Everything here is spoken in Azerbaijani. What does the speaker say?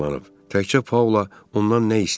Təkcə Paula ondan nə istəyib?